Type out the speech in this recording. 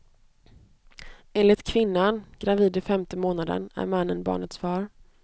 Enligt kvinnan, gravid i femte månaden, är mannen barnets far.